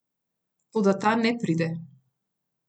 Toda ta ne pride.